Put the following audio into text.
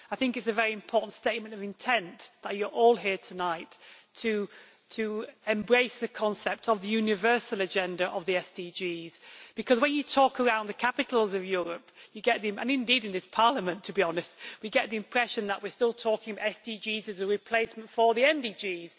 I think it is a very important statement of intent that you are all here tonight to embrace the concept of the universal agenda of the SDGs. When you talk around the capitals of Europe, and indeed in this Parliament, to be honest, we get the impression that we are still talking of SDGs as a replacement for the MDGs.